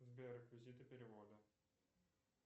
сбер реквизиты перевода